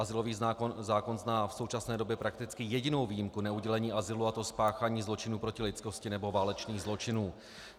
Azylový zákon zná v současné době prakticky jedinou výjimku neudělení azylu, a to spáchání zločinu proti lidskosti nebo válečných zločinů.